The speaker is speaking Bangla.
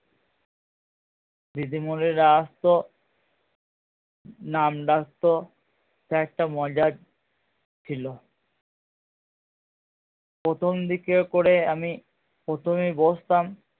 দিদিমণিরা আসতো নাম ডাকতো sir টা মজার ছিলো প্রথম দিকে করে আমি প্রথেমেই বসতাম